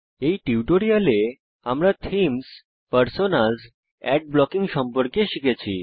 এই টিউটোরিয়ালে আমরা থীমস পার্সোনাস অ্যাড ব্লকিং সম্পর্কে শিখেছি